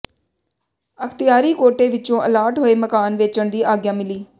ਅਖਤਿਆਰੀ ਕੋਟੇ ਵਿਚੋਂ ਅਲਾਟ ਹੋਏ ਮਕਾਨ ਵੇਚਣ ਦੀ ਆਗਿਆ ਮਿਲੀ